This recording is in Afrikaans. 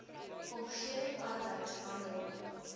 omgewing arbeid handel